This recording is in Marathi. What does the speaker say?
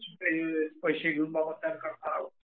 हो. पैसे घेऊन मतदान करणे.